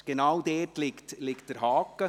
Genau das ist der Haken.